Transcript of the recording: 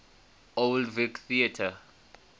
old vic theatre